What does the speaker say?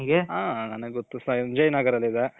ಹಾ ನನ್ಗೆ ಗೊತ್ತು ಸಂಜಯ್ ನಗರ್ ಅಲ್ಲಿದೆ.